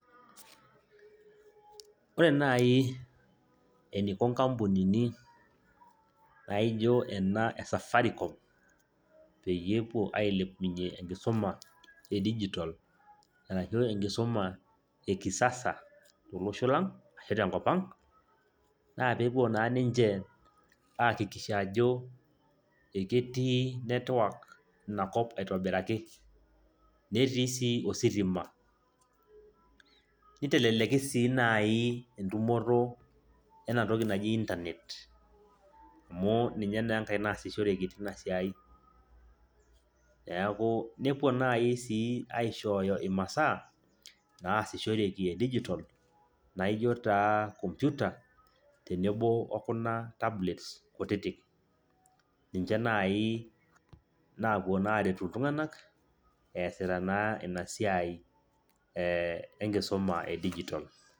Ore naagi eneiko inkampunini naijo ena esafaricom, peyie epuo ailepunyie enkisuma e digital arashu enkisuma ekiasasa tolosho lang' ashu tenkopang' naapeepuo naa ninje akikisha ajo eketii network inakop aitobiiraki, netii sii ositima. Niteleleki sii naaji doi entumoto ena toki naji internet amu ninye naa enkae toki naasishoreki teina siai. Neeku nepuo naaji sii aishooyo imasaa naasishoreki e digital naijo taa computer tenebo okuna tablet kutiti. Ninje naai napuo naa aretu iltunganak easita naa ina siai enkisuma e digital.